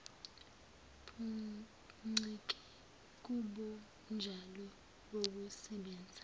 buncike kubunjalo bokusebenza